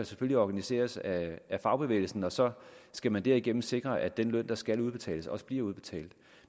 selvfølgelig organiseres af fagbevægelsen og så skal det derigennem sikres at den løn der skal udbetales også bliver udbetalt